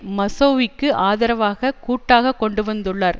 மெசௌவிக்கு ஆதரவாகக் கூட்டாக கொண்டுவந்துள்ளார்